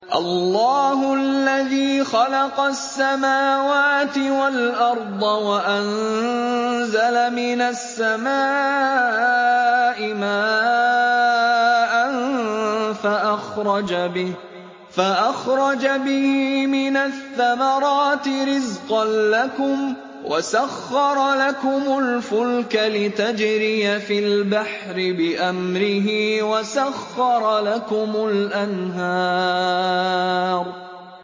اللَّهُ الَّذِي خَلَقَ السَّمَاوَاتِ وَالْأَرْضَ وَأَنزَلَ مِنَ السَّمَاءِ مَاءً فَأَخْرَجَ بِهِ مِنَ الثَّمَرَاتِ رِزْقًا لَّكُمْ ۖ وَسَخَّرَ لَكُمُ الْفُلْكَ لِتَجْرِيَ فِي الْبَحْرِ بِأَمْرِهِ ۖ وَسَخَّرَ لَكُمُ الْأَنْهَارَ